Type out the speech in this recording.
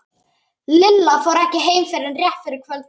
Lilla fór ekki heim fyrr en rétt fyrir kvöldmat.